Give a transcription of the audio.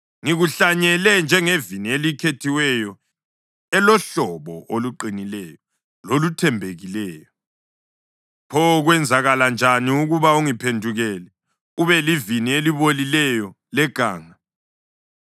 Ngikuhlanyele njengevini elikhethiweyo elohlobo oluqinileyo loluthembekileyo. Pho kwenzakala njani ukuba ungiphendukele ube livini elibolileyo, leganga?